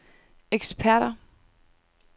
eksperter